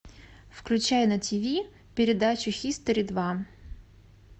включай на тиви передачу хистори два